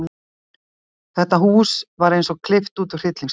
Þetta hús var eins og klippt út úr hryllingsmynd.